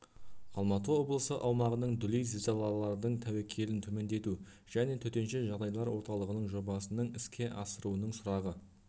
алматы облысы аумағының дүлей зілзалалардың тәуекелін төмендету және төтенше жағдайлар орталығының жобасының іске асыруының сұрағы